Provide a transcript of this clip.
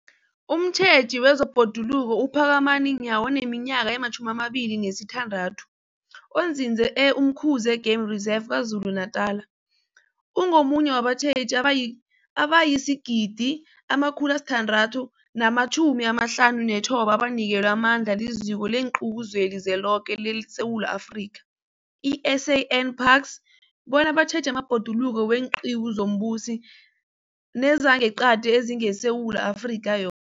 Umtjheji wezeBhoduluko uPhakamani Nyawo oneminyaka ema-26, onzinze e-Umkhuze Game Reserve KwaZulu-Natala, ungomunye wabatjheji abayi, abayi-1 659 abanikelwe amandla liZiko leenQiwu zeliZweloke leSewula Afrika, i-SANParks, bona batjheje amabhoduluko weenqiwu zombuso nezangeqadi ezingeSewula Afrika yo